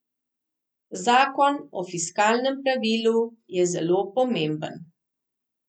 Zakon o fiskalnem pravilu je zelo pomemben.